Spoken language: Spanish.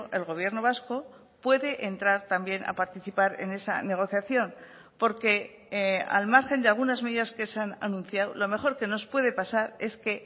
el gobierno vasco puede entrar también a participar en esa negociación porque al margen de algunas medidas que se han anunciado lo mejor que nos puede pasar es que